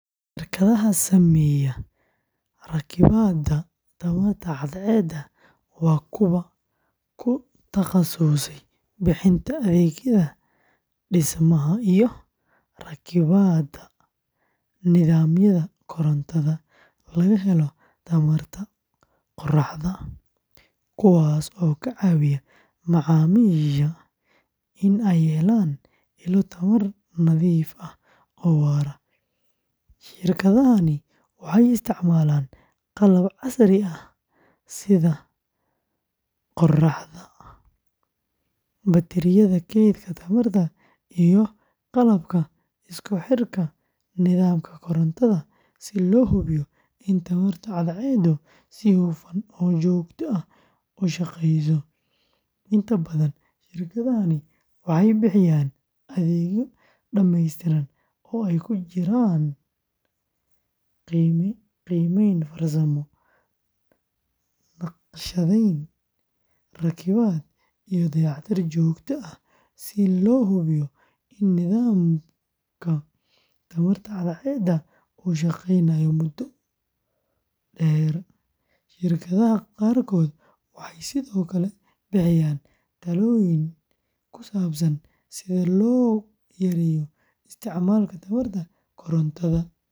Shirkadaha sameeya rakibaadda tamarta cadceedda waa kuwa ku takhasusay bixinta adeegyada dhismaha iyo rakibaadda nidaamyada korontada laga helo tamarta qoraxda, kuwaas oo ka caawiya macaamiisha in ay helaan ilo tamar nadiif ah oo waara. Shirkadahani waxay isticmaalaan qalab casri ah sida panelada qoraxda, batariyada keydka tamarta, iyo qalabka isku xirka nidaamka korontada si loo hubiyo in tamarta cadceeddu si hufan oo joogto ah u shaqeyso. Inta badan shirkadahani waxay bixiyaan adeegyo dhamaystiran oo ay ku jiraan qiimeyn farsamo, naqshadeyn, rakibaad, iyo dayactir joogto ah si loo hubiyo in nidaamka tamarta cadceeddu uu shaqeynayo muddo dheer. Shirkadaha qaarkood waxay sidoo kale bixiyaan talooyin ku saabsan sida loo yareeyo isticmaalka tamarta korontada.